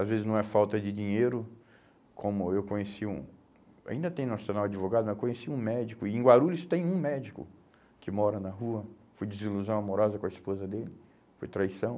Às vezes não é falta de dinheiro, como eu conheci um, ainda tem nacional advogado, mas conheci um médico, e em Guarulhos tem um médico que mora na rua, foi desilusão amorosa com a esposa dele, foi traição.